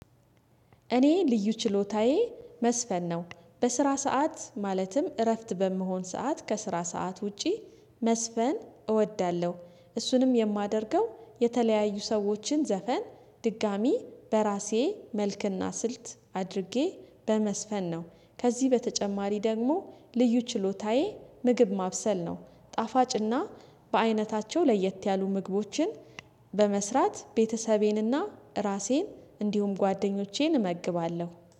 እኔ ልዩ ችሎታዬ መዝፈን ነው በስራ ሰዓት ማለትም እረፍት በምሆን ሰዓት ከስራ ሰዓት ውጪ መዝፈን እወዳለሁ እሱንም የማደርገው የተለያዩ ሰዎችን ዘፈን ድጋሚ በራሴ መልክና ስልት አድርጌ በመዝፈን ነው። ከዚህ በተጨማሪ ደግሞ ልዩ ችሎታዬ ምግብ ማብሰል ነው። ጣፋጭና በአይነታቸው ለየት ያሉ ምግቦችን በመስራት ቤተሰቤንና ራሴን እንዲሁም ጓደኞቼን እመግባለሁ